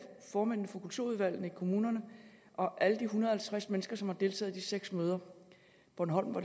formændene for kulturudvalgene i kommunerne og alle de en hundrede og halvtreds mennesker som har deltaget i de seks møder bornholm var